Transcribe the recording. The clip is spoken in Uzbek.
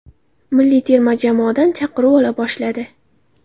Milliy terma jamoadan chaqiruv ola boshladi.